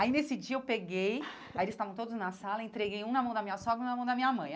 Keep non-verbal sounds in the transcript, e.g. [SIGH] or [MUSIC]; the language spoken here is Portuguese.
Aí, nesse dia, eu peguei, [LAUGHS] aí eles estavam todos na sala, entreguei um na mão da minha sogra e um na mão da minha mãe.